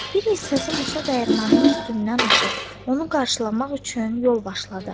Bir hissəsi Musa dəyirmanının üstündən aşıb, onu qarşılamaq üçün yol başladı.